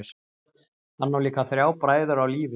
Hann á líka þrjá bræður á lífi.